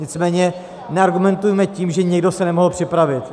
Nicméně neargumentujme tím, že někdo se nemohl připravit.